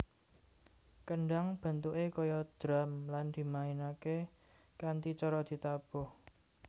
Kendhang bentuké kaya drum lan dimainaké kanthi cara ditabuh